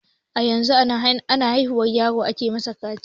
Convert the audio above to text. A yanzu a na haihuwar yaro a ke mishi kaciya.